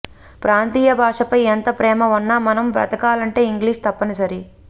ప్రాంతీయ భాషపై ఎంత ప్రేమ ఉన్న మనం బ్రతకాలంటే ఇంగ్లీష్ తప్పనిసరి